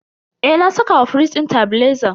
Eh, na saka wa firij din tebileza.